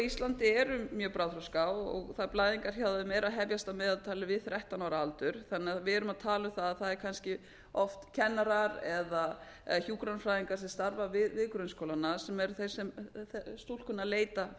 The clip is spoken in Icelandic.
íslandi eru mjög bráðþroska og blæðingar hjá þeim eru að hefjast að meðaltali við þrettán ára aldur þannig að við erum að tala um að það eru kannski oft kennarar eða hjúkrunarfræðingar sem starfa við grunnskólana sem eru þeir sem stúlkurnar leita